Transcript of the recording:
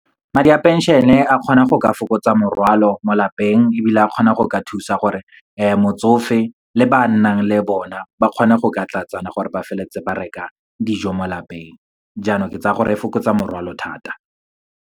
Madi a pension-e a kgona go ka fokotsa morwalo mo lapeng, ebile a kgona go ka thusa gore motsofe le ba nnang le bona ba kgone go ka tlatsana, gore ba feleletse ba reka dijo mo lapeng. Jaanong ke tsaya gore e fokotsa morwalo thata.